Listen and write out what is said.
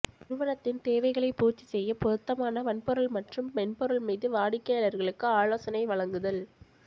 நிறுவனத்தின் தேவைகளைப் பூர்த்தி செய்ய பொருத்தமான வன்பொருள் மற்றும் மென்பொருள் மீது வாடிக்கையாளர்களுக்கு ஆலோசனை வழங்குதல்